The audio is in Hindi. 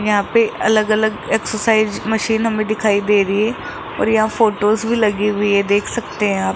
यहां पे अलग अलग एक्सरसाइज मशीन हमें दिखाई दे रही है और यहाँ फोटोस भी लगी हुई है देख सकते हैं आप --